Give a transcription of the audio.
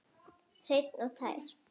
Hreinn og tær.